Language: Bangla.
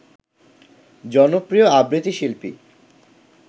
জনপ্রিয় আবৃত্তি শিল্পী